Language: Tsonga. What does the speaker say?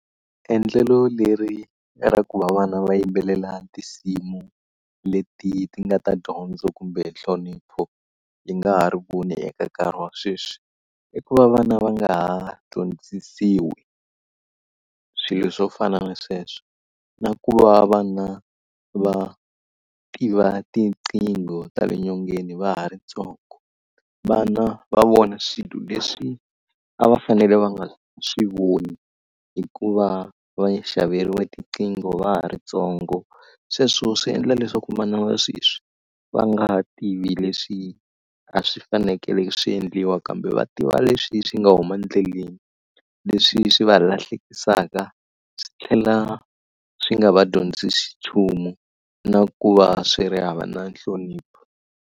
Endlelo leri ra ku va vana va yimbelela tinsimu leti ti nga ta dyondzo kumbe nhlonipho hi nga ha ri voni eka nkarhi wa sweswi, i ku va vana va nga ha dyondzisiwi swilo swo fana na sweswo na ku va vana va tiva tinqingho ta le nyongeni va ha ri ntsongo. Vana va vona swilo leswi a va fanele va nga swi voni hikuva va xaveriwile tiqingho va ha ri ntsongo, sweswo swi endla leswaku vana va sweswi va nga tivi leswi a swi fanekele swi endliwa kambe va tiva leswi swi nga huma endleleni. Leswi swi va lahlekisaka, swi tlhela swi nga va dyondzisi nchumu, na ku va swi ri hava na nhlonipho.